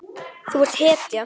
Þú ert hetja.